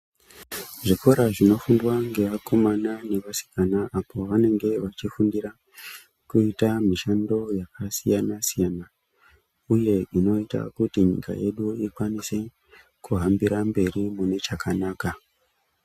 Zvikora zvinofundwa ngevakomana nevasikana apo vanenge vachifundira kuita mishando yakasiyana siyana uye unoita kuti nyika yedu ikwanise kuhambira mberi nechakanaka.